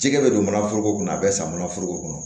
Jɛgɛ bɛ don mana foroko kɔnɔ a bɛ san mana foroko kɔnɔ